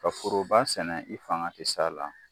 Ka foroba sɛnɛ i fanga ti sa la